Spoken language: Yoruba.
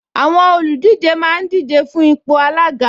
Àwọn olùdíje máa ń díje fún ipò alága